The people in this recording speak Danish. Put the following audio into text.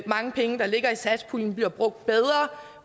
mange penge der ligger i satspuljen bliver brugt bedre